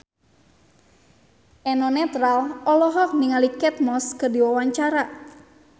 Eno Netral olohok ningali Kate Moss keur diwawancara